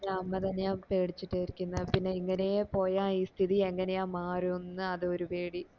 അമ്മ തന്നെയാ പിടിച്ചിട്ട ഇരിക്കുന്നത് പിന്നെ ഇങ്ങനെയേ പോയ ഈ സ്ഥിതി എങ്ങനെ മാറും ന്നു അത് ഒരു പേടി